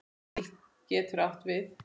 BÍL getur átt við